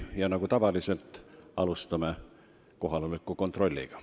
Ja nagu tavaliselt alustame kohaloleku kontrolliga.